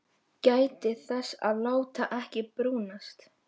Gætið þess að láta ekki brúnast.